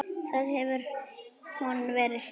Það hefur hún verið síðan.